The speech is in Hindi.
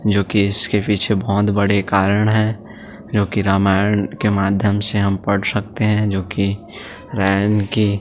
जोकि इसके पीछे बहुत बड़े कारण है जोकि रामायण के माध्यम से हम पढ़ सकते है जोकि रायन की --